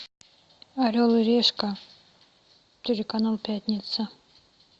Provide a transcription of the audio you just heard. орел и решка телеканал пятница